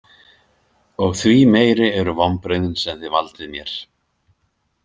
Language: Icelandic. Og því meiri eru vonbrigðin sem þið valdið mér